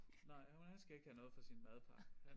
Nej han skal ikke have noget fra sin madpakke han